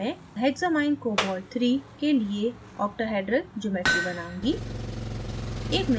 अब मैं hexamminecobalt iii के लिए octahedral geometry बनाऊँगी